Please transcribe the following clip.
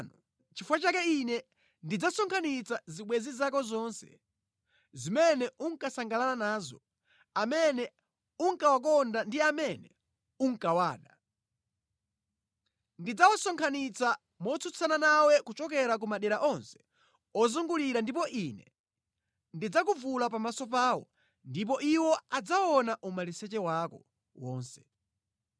nʼchifukwa chake Ine ndidzasonkhanitsa zibwenzi zako zonse, zimene unkasangalala nazo, amene unkawakonda ndi amene unkawada. Ndidzawasonkhanitsa motsutsana nawe kuchokera ku madera onse okuzungulira ndipo Ine ndidzakuvula pamaso pawo, ndipo iwo adzaona umaliseche wako wonse.